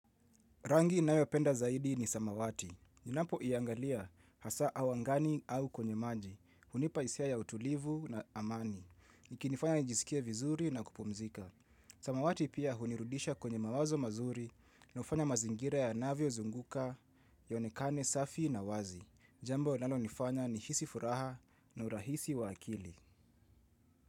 Rangi nayo penda zaidi ni samawati. Ninapo iangalia hasa awangani au kwenye manji. Hunipaisia ya utulivu na amani. Niki nifanya nijisikie vizuri na kupumzika. Samawati pia hunirudisha kwenye mawazo mazuri na ufanya mazingira ya navyo zunguka ya onekane safi na wazi. Jambo nalo nifanya ni hisi furaha na urahisi wa akili.